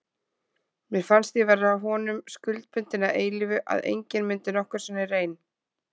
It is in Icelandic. Mér fannst ég vera honum skuldbundin að eilífu, að enginn myndi nokkru sinni reyn